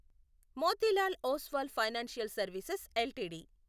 Motilal Oswal financial services LTD